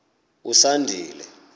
usandile